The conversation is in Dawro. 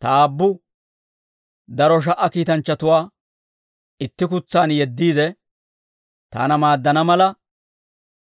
Ta Aabbu daro sha"a kiitanchchatuwaa itti kutsaan yeddiide, taana maaddana mala,